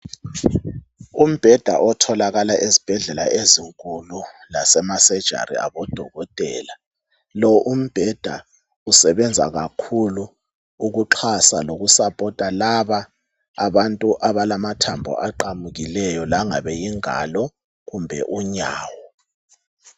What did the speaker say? Umbheda otholakala ezibhedlela ezinkulu lase lemasejari abodokotela. Lo umbheda usebenza kakhulu ukuxhasa lokusaphotha laba abantu abalamathambo aqamukileyo langabe yingalo kumbe unyawo.